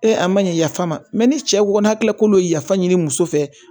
a ma ɲɛ yafa ma ni cɛ ko n'a kila k'olu yafa ɲini muso fɛ